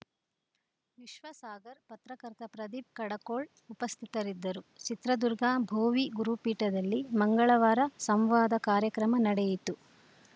ವಿಶ್ವಸಾಗರ್‌ ಪತ್ರಕರ್ತ ಪ್ರದೀಪ್‌ ಕಡಕೊಳ್‌ ಉಪಸ್ಥಿತರಿದ್ದರು ಚಿತ್ರದುರ್ಗ ಭೋವಿ ಗುರುಪೀಠದಲ್ಲಿ ಮಂಗಳವಾರ ಸಂವಾದ ಕಾರ್ಯಕ್ರಮ ನಡೆಯಿತು